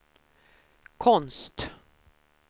konst